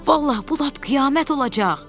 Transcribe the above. Vallah, bu lap qiyamət olacaq!